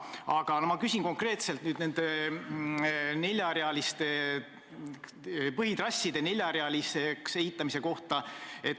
Aga ma küsin konkreetselt põhitrasside neljarealiseks ehitamise kohta.